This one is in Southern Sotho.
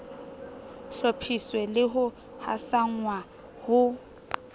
hlophiswe le ho hasanngwa ho